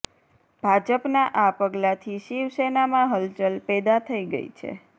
ભાજપના આ પગલાંથી શિવસેનામાં હલચલ પેદા થઇ ગઇ છે